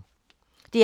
DR P3